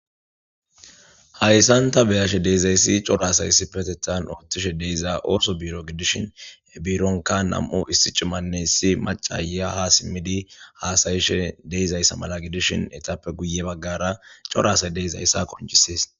Hayisan ta beashe dizayis cora asay issippetetan otishe diza oso biro gidishin he bironka nam'u issi cimanne issi maca aya ha simidi hasayishe deizayisa mala gidishin etappe guye bagara cora asay deizayisa qoncises.